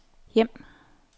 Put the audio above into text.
hjem